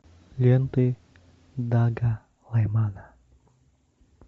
ленты дага лаймана